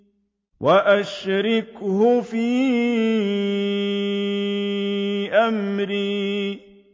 وَأَشْرِكْهُ فِي أَمْرِي